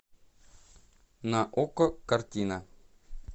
на окко картина